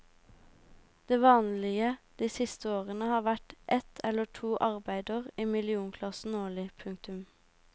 Det vanlige de siste årene har vært et eller to arbeider i millionklassen årlig. punktum